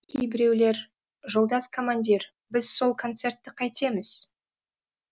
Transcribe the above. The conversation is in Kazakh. кейбіреулер жолдас командир біз сол концертті қайтеміз